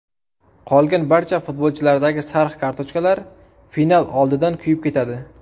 Qolgan barcha futbolchilardagi sariq kartochklar final oldidan kuyib ketadi.